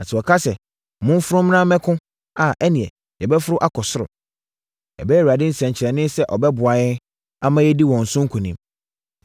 Na sɛ wɔka sɛ, ‘Momforo mmra mmɛko’ a, ɛnneɛ, yɛbɛforo akɔ ɔsoro. Ɛbɛyɛ Awurade nsɛnkyerɛnneɛ sɛ ɔbɛboa yɛn, ama yɛadi wɔn so nkonim.”